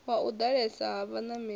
wa u ḓalesa ha vhanameli